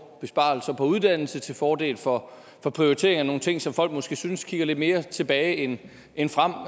besparelser på uddannelse til fordel for prioritering af nogle ting som folk måske synes kigger lidt mere tilbage end end frem og